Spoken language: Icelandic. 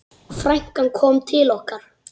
Frænkan kom til okkar.